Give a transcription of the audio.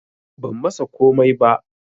Ban masa komai ba